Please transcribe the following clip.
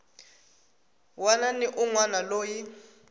wana ni un wana loyi